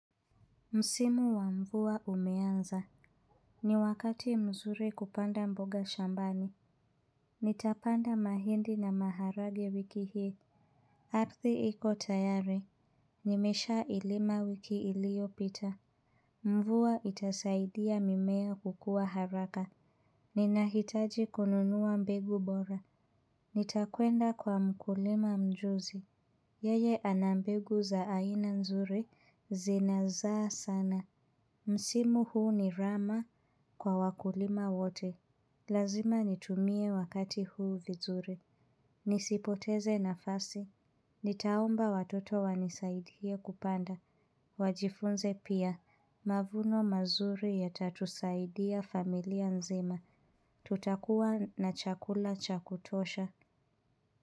Msimu wa mvua umeanza. Ni wakati mzuri kupanda mboga shambani. Nitapanda mahindi na maharagwe wiki hii. Arthi iko tayari. Nimeshaa ilima wiki iliyopita. Mvua itasaidia mimea kukua haraka. Ninahitaji kununuwa mbegu bora. Nitakwenda kwa mkulima mjuzi. Yeye anambegu za aina nzuri zinazaa sana. Msimu huu ni rama kwa wakulima wote. Lazima nitumie wakati huu vizuri. Nisipoteze nafasi. Nitaomba watoto wanisaidie kupanda. Wajifunze pia. Mavuno mazuri yatatusaidia familia nzima. Tutakua na chakula cha kutosha.